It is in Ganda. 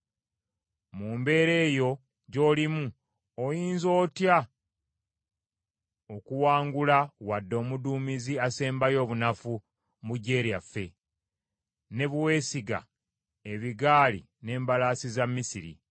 Mu mbeera eyo gy’olimu oyinza otya okuwangula wadde omuduumizi asembayo obunafu mu gye lyaffe ne bwe weesiga ebigaali n’embalaasi za Misiri?